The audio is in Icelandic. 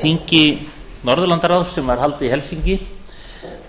þingi norðurlandaráðs sem var haldið í helsinki